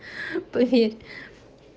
поверь